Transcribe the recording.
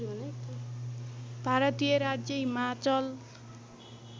भारतीय राज्य हिमाचल